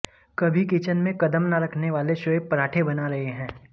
कभी किचन में कदम ना रखने वाले शोएब पराठे बना रहे हैं